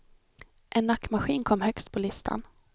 En nackmaskin kom högst på listan.